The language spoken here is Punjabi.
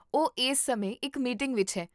ਉਹ ਇਸ ਸਮੇਂ ਇੱਕ ਮੀਟਿੰਗ ਵਿੱਚ ਹੈ